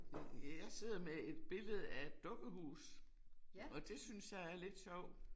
Øh jeg sidder med et billede af et dukkehus og det synes jeg er lidt sjovt